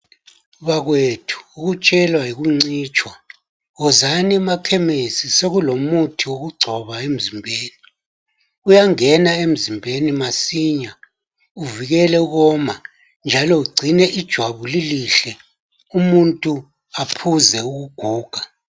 Bakwethu, ukutshelwa yikuncitshwa. Wozani emakhemesi, sekulomuthi wokugcoba emzimbeni. Uyangena emzimbeni masinya uvikele ukoma, njalo ugcine ijwabu elihle, umuntu aphuze ukuguga.